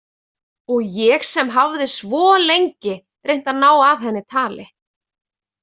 Og ég sem hafði svo lengi reynt að ná af henni tali?